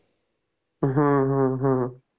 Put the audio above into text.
हं हं हं